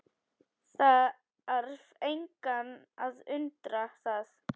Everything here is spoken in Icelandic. Þarf engan að undra það.